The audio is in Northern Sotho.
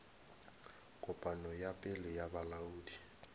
kopano ya pele ya bolaodi